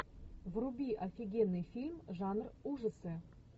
вруби офигенный фильм жанр ужасы